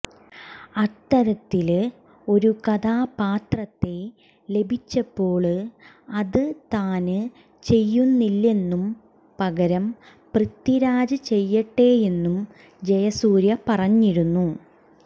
അത്തരത്തില് ഒരു കഥാപാത്രത്തെ ലഭിച്ചപ്പോള് അത് താന് ചെയ്യുന്നില്ലെന്നും പകരം പൃഥ്വിരാജ് ചെയ്യട്ടെയെന്നും ജയസൂര്യ പറഞ്ഞിരുന്നു